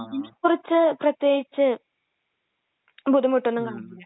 അതിനെക്കുറിച്ച് പ്രത്യേകിച്ച് ബുദ്ധിമുട്ട് ഒന്നും കാണില്ല.